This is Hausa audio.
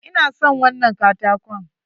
Ina son wannan katakon.